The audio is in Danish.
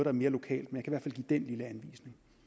er mere lokalt men jeg kan